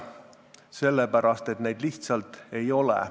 Sellepärast, et neid lihtsalt ei ole.